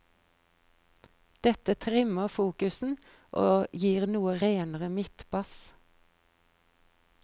Dette trimmer fokusen og gir noe renere midtbass.